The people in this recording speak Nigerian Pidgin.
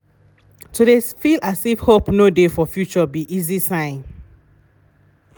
to de feel as if hope no de for future be easy sign.